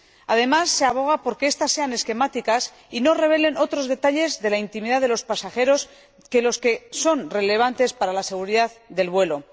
Además, se aboga por que estas sean esquemáticas y no revelen otros detalles de la intimidad de los pasajeros que los que son relevantes para la seguridad del vuelo.